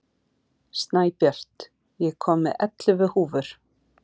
Snæbjört, ég kom með ellefu húfur!